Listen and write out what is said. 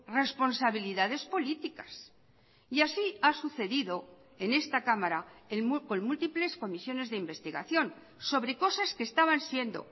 responsabilidades políticas y así ha sucedido en esta cámara con múltiples comisiones de investigación sobre cosas que estaban siendo